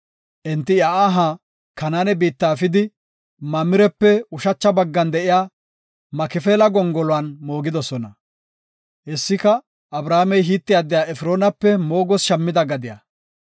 Enti iya aha Kanaane biitta efidi, Mamirepe ushacha baggan de7iya Makifeela gongoluwan moogidosona. Hessika, Abrahaamey Hite addiya Efroonape moogoos shammida gadiya.